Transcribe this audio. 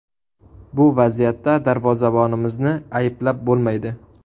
Bu vaziyatda darvozabonimizni ayblab bo‘lmaydi.